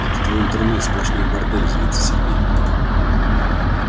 это твой интернет сплошной бордель злится сергей